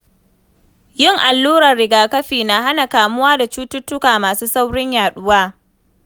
Yin alluran rigakafi na hana kamuwa da cututtuka masu saurin yaɗuwa.